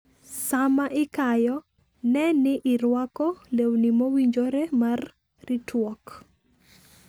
Sama ikayo, ne ni irwako lewni mowinjore mar ritruok.